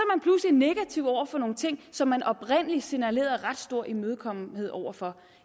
negativ over for nogle ting som man oprindelig signalerede ret stor imødekommenhed over for